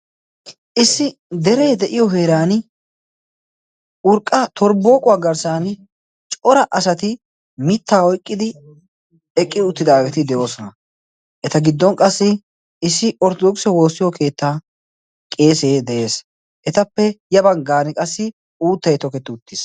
issi deree de7iyo heeran urqqa torbooquwaa garssan cora asati mittaa oiqqidi eqqi uttidaageeti de7oosona eta giddon qassi issi orttodooksiyaa woossiyo keettaa qeesee de7ees etappe ya baggan qassi uuttai toketti uttiis